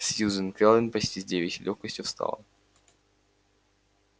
сьюзен кэлвин почти с девичьей лёгкостью встала